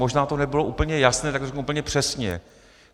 Možná to nebylo úplně jasné, tak to řeknu úplně přesně.